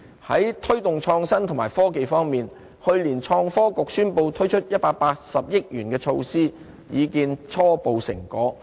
在推動創新及科技方面，去年創科局宣布推出180億元的措施，已見初步成果。